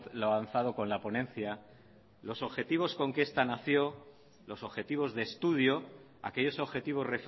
lo avanzado con la ponencia los objetivos con los que esta nació los objetivos de estudio aquellos objetivos